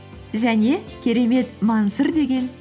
және керемет мансұр деген